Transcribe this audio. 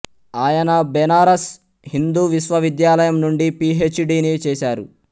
ఆయన బెనారస్ హిందూ విశ్వవిద్యాలయం నుండి పి హెచ్ డిని చేసారు